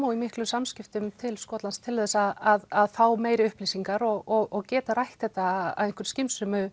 og í miklum samskiptum við Skotland til þess að fá meiri upplýsingar og geta rætt þetta á einhverju skynsömu